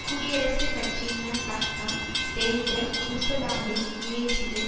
குடியரசுக் கட்சியினர் பக்கம் தேர்தல் ஊசலாடும் முயற்சியில்